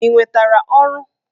Ị nwetara ọrụ?